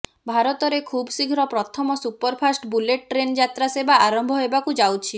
ଭାରତରେ ଖୁବଶୀଘ୍ର ପ୍ରଥମ ସୁପରଫାଷ୍ଟ୍ ବୁଲେଟ୍ ଟ୍ରେନ୍ ଯାତ୍ରା ସେବା ଆରମ୍ଭ ହେବାକୁ ଯାଉଛି